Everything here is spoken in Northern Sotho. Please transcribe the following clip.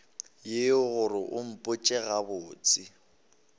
yeo gore o mpotše gabotse